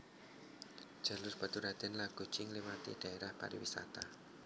Jalur Baturraden lan Guci ngliwati dhaérah pariwisata